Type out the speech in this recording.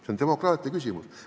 See on demokraatia küsimus.